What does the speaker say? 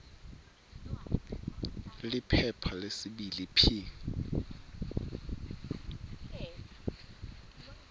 liphepha lesibili p